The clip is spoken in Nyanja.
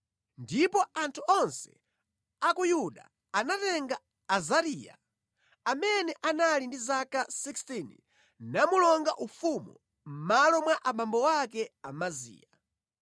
Ndipo anthu onse a ku Yuda anatenga Azariya, amene anali ndi zaka 16 namulonga ufumu mʼmalo mwa abambo ake Amaziya.